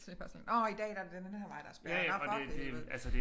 Så det er bare sådan en åh i dag er det den her vej der er spærret nåh for helvede